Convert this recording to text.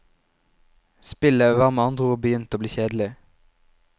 Spillet var med andre ord begynt å bli kjedelig.